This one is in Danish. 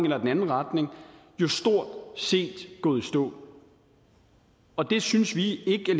eller den anden retning jo stort set gået i stå og det synes vi ikke